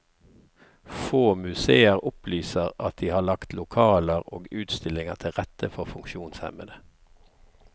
Få museer opplyser at de har lagt lokaler og utstillinger til rette for funksjonshemmede.